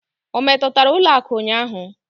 O metụtara ụlọ akụ ụnyaahụ?